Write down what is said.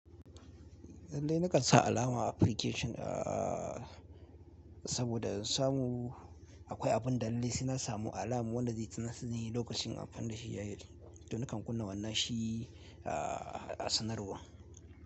Lalle na kan sa alama application aah saboda in samu akwai abin da lalle sai na samu alama wanda zai tunatar dani lokacin amfani da shi ya yi. To nakan kunna wannan shi aah a sanarwa.